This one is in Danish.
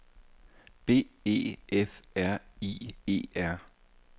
B E F R I E R